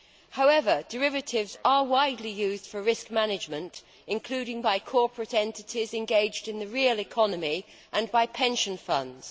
However, derivatives are widely used for risk management, including by corporate entities engaged in the real economy and by pension funds.